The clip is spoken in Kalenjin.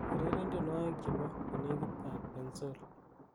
ureren tienywogik chebo konegit ab bensoul